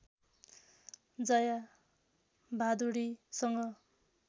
Jaya भादुडीसँग